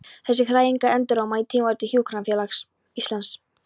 Þessar hræringar enduróma í Tímariti Hjúkrunarfélags Íslands.